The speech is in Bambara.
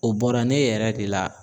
O bɔra ne yɛrɛ de la.